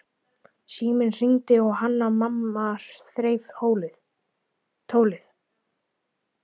Síminn hringdi og Hanna-Mamma þreif tólið.